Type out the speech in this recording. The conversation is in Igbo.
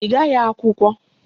Ị gaghị akwụkwọ?